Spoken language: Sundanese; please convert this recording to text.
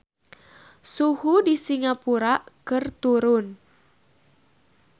Suhu di Singapura keur turun